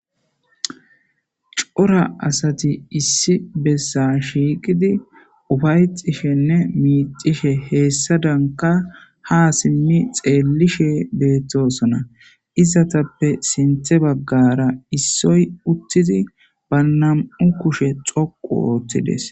cora asati issi bessa shiiqidi ufayxishenne miixishe heessadanka ha simmi xeellishe beettosona izatappe sinthe baggara issoy uttidi ba nam7u kushe xoqu oothtides